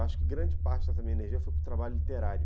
Acho que grande parte dessa minha energia foi para o trabalho literário.